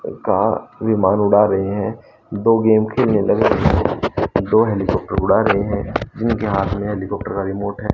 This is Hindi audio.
का विमान उड़ा रहे है दो गेम खेलने लग रहे हैं दो हेलीकॉप्टर उड़ा रहे हैं जीनके हाथ में हेलिकॉप्टर का रिमोट है।